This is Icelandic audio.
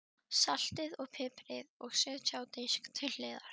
Saltið og piprið og setjið á disk til hliðar.